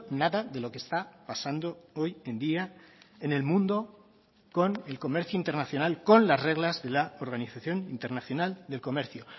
nada de lo que está pasando hoy en día en el mundo con el comercio internacional con las reglas de la organización internacional del comercio